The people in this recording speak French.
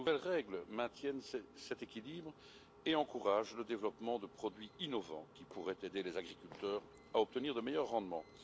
Ces nouvelles règles maintiennent cet équilibre et encouragent le développement de produits innovants qui pourraient aider les agriculteurs à obtenir de meilleurs rendements.